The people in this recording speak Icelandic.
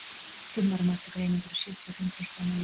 fimm árum eftir greiningu eru sjötíu og fimm prósent enn á lífi